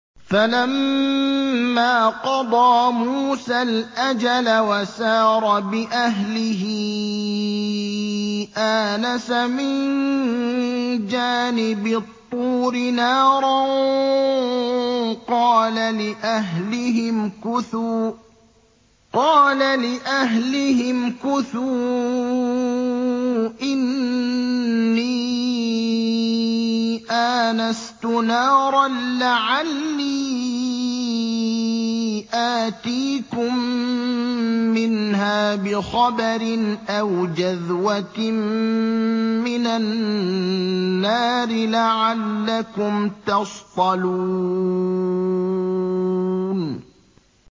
۞ فَلَمَّا قَضَىٰ مُوسَى الْأَجَلَ وَسَارَ بِأَهْلِهِ آنَسَ مِن جَانِبِ الطُّورِ نَارًا قَالَ لِأَهْلِهِ امْكُثُوا إِنِّي آنَسْتُ نَارًا لَّعَلِّي آتِيكُم مِّنْهَا بِخَبَرٍ أَوْ جَذْوَةٍ مِّنَ النَّارِ لَعَلَّكُمْ تَصْطَلُونَ